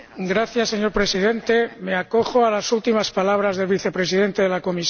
Señor Presidente, me acojo a las últimas palabras del Vicepresidente de la Comisión.